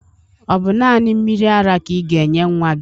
Ọ bụ naanị mmiri ara ka ị ga-enye nnwa gị?